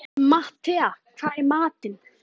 Matthea, hvað er í matinn?